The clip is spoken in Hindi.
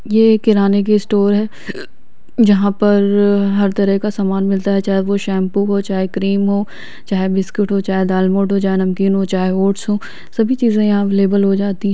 ये एक किराने की स्टोर हैं जहा पर हर तरह का सामान मिलता हैं चाहे वो शैम्पू हो चाहे क्रीम हो चाहे बिस्कुट हो चाहे दालमूट हो चाहे नमकीन हो चाहे ओट्स सभी चीजे यहा अवेलेबल हो जाती हैं।